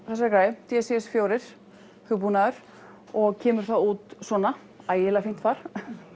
þessari græju d c s fjórum hugbúnaður og kemur þá út svona ægilega fínt far